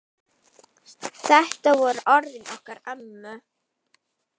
Þetta voru orðin okkar ömmu.